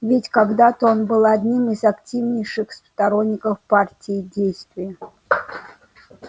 ведь когда-то он был одним из активнейших сторонников партии действия